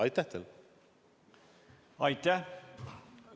Aitäh!